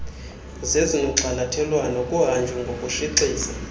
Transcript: zezinogxalathelwano kuhanjwe ngokushixiza